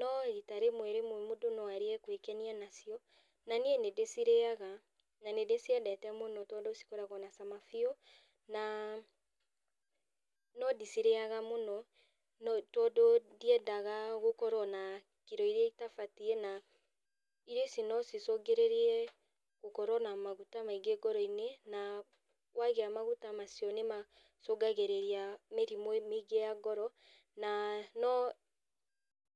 no rita rĩmwe rĩmwe mũndũ no arie gwĩkwenia nacio, na niĩ nĩndĩcirĩaga, na nĩndĩciendete mũno tondũ cikoragwo na cama biũ, na no ndicirĩaga mũno, no tondũ ndiendaga gũkorwo na kiro iria itabatiĩ, na irio ici no cicũngĩrĩrie gũkorwo na maguta maingĩ ngoroinĩ, na kwagĩa maguta macio nĩmacungagĩrĩria mĩrimũ mĩingĩ ya ngoro, na no